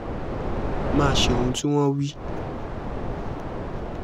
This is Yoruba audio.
má a ṣe ohun tí wọ́n wí